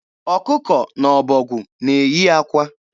Ọkụkọ na ọbọgwụ na-eyi akwa.